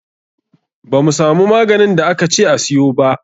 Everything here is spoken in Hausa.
Ba mu samu maganin da aka ce a siyo ba.